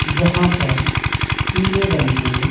जहां पर पीले रंग के --